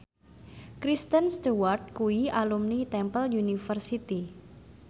Kristen Stewart kuwi alumni Temple University